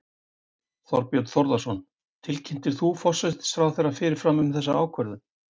Þorbjörn Þórðarson: Tilkynntir þú forsætisráðherra fyrirfram um þessa ákvörðun?